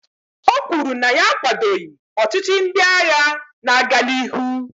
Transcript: o kwuru na ya akwadoghị ọchịchị ndị agha na-aga n'ihu